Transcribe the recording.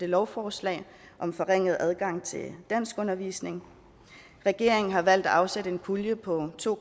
lovforslag om forringet adgang til danskundervisning regeringen har valgt at afsætte en pulje på to